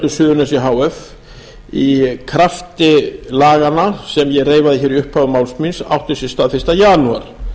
suðurnesja h f í krafti laganna sem ég reifaði hér í upphafi máls míns átti sér stað fyrsta janúar